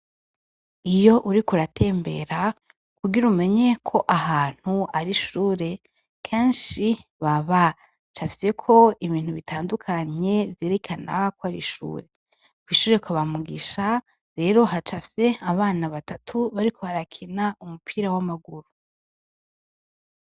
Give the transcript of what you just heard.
Iyo uriko uratembera kugira umenye ko ahantu ari ishure kenshi baba bacafyeko ibintu bitandukanye vyerekana ko ari ishure . Kw’ishure kwaba Mugisha rero hacafye abana batatu bariko barakina umupira w’amaguru.